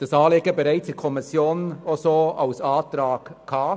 der SiK. Das Anliegen lag bereits in der Kommission als Antrag vor.